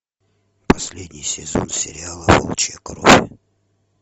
последний сезон сериала волчья кровь